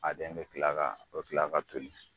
A den bɛ kila ka o bɛ kila ka toli.